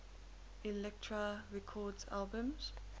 elektra records albums